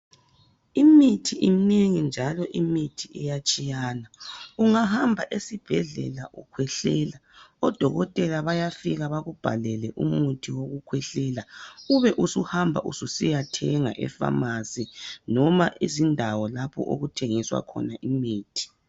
imithi imnengi njalo imithi iyatshiyana, ungahamba esibhedlela ukhwehlela . Odokotela bafika bakubhalele umuthi wokukhwehlela ube usuhamba ususiya thenga efamasi noma izindawo lapho okuthengiswa khona imithi.